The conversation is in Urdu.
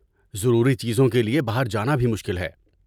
ضروری چیزوں کے لیے باہر جانا بھی مشکل ہے۔